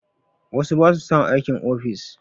Wasu ba su son aikin ofis